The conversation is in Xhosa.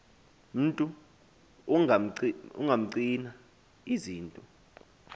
mntu ungapcina izinto